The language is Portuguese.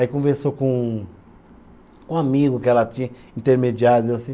Aí conversou com um, com um amigo que ela tinha, intermediário assim